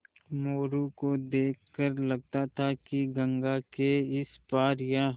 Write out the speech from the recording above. मोरू को देख कर लगता था कि गंगा के इस पार या